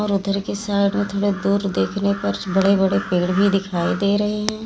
पत्थर के साइड में दूर देखने पर बड़े बड़े पेड़ भी दिखाई दे रहे हैं।